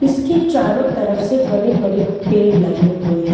इसके चारों तरफ से बड़े बड़े पेड़ लगे हुए हैं।